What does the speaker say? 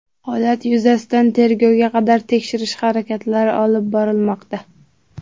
Holat yuzasidan tergovga qadar tekshirish harakatlari olib borilmoqda.